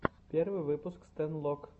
первый выпуск стэнлок